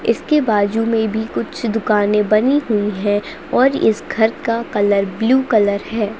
इसके बाजू में भी कुछ दुकानें बनी हुई है और इस घर का कलर ब्लू कलर है।